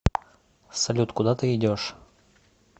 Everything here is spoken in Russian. салют куда ты идешь